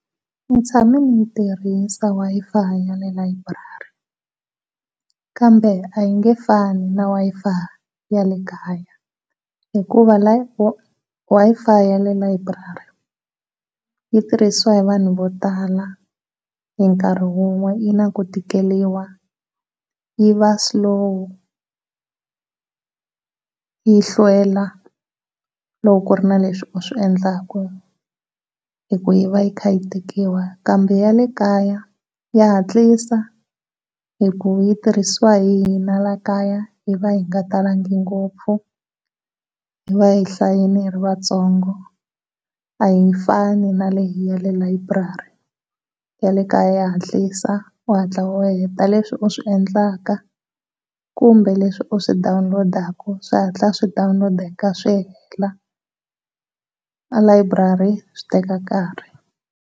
Ndzi tshame ndzi tirhisa Wi-Fi ya le library kambe a yi nge fani na Wi-Fi ya le kaya, hikuva la Wi-Fi ya le library yi tirhiswa hi vanhu vo tala hi nkarhi wun'we yi na ku tikeriwa yi va slow yi hlwela loko ku ri na leswi u swi endlaku hi ku iva yi tikiwa. Kambe ya le kaya ya hatlisa hi ku yi tirhiswa hi hina laha kaya hi va hi nga talangi ngopfu, hi va hi hlayile hi ri vatsongo a yi fani na leyi ya le library. Ya le kaya ya hatlisa u hatla u heta leswi u swi endlaka kumbe leswi u swi dawunilodaku swihatla swi dawunulodeka swi hela a library swi teka nkarhi.